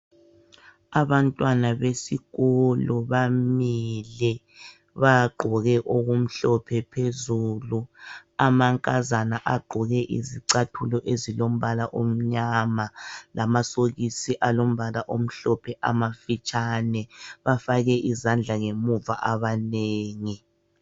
Abantwana besikolo bamile bagqoke okumhlophe phezulu amankazana agqoke izicathulo ezilombala omnyama lamasokisi alombala omhlophe amafitshane . Bafake izandla ngemuva abanengi .